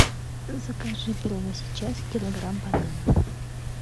закажи прямо сейчас килограмм бананов